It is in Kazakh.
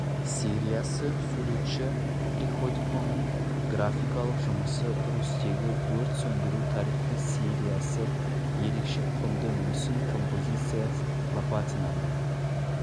сериясы суретші приходьконың графикалық жұмысы русьтегі өрт сөндіру тарихы сериясы ерекше құнды мүсін композициясы лопатинаның